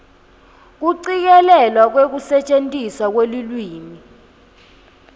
kucikelelwa kwekusetjentiswa kwelulwimi